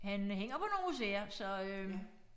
Han hænger på nogle museer så øh